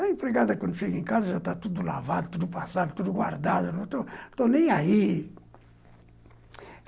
A empregada, quando chega em casa, já está tudo lavado, tudo passado, tudo guardado, não estou estou nem aí.